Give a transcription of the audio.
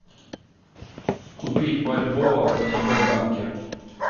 купить бальбоа в втб банке